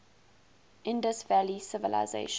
indus valley civilisation